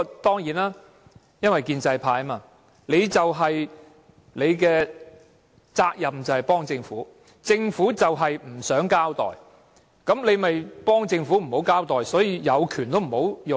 當然，因為他們是建制派，責任就是幫助政府，政府不想交代事件，他們就要給予幫助，所以他們有權都不會運用。